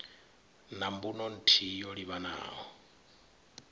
na mbuno nthihi yo livhanaho